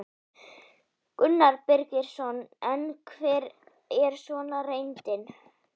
Gunnar Birgisson: En hver er svo reyndin?